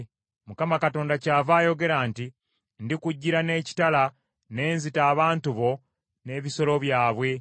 “‘ Mukama Katonda kyava ayogera nti: Ndikujjira n’ekitala, n’enzita abantu bo n’ebisolo byabwe.